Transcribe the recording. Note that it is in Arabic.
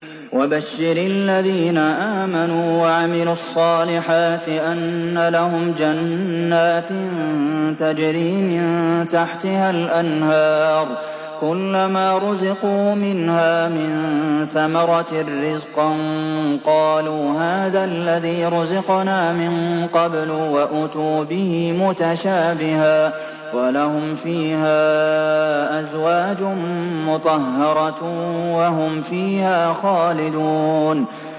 وَبَشِّرِ الَّذِينَ آمَنُوا وَعَمِلُوا الصَّالِحَاتِ أَنَّ لَهُمْ جَنَّاتٍ تَجْرِي مِن تَحْتِهَا الْأَنْهَارُ ۖ كُلَّمَا رُزِقُوا مِنْهَا مِن ثَمَرَةٍ رِّزْقًا ۙ قَالُوا هَٰذَا الَّذِي رُزِقْنَا مِن قَبْلُ ۖ وَأُتُوا بِهِ مُتَشَابِهًا ۖ وَلَهُمْ فِيهَا أَزْوَاجٌ مُّطَهَّرَةٌ ۖ وَهُمْ فِيهَا خَالِدُونَ